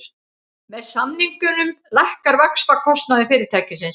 Með samningunum lækkar vaxtakostnaður fyrirtækisins